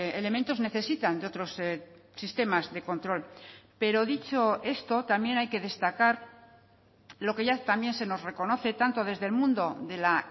elementos necesitan de otros sistemas de control pero dicho esto también hay que destacar lo que ya también se nos reconoce tanto desde el mundo de la